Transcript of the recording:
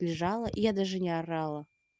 лежала и я даже не орала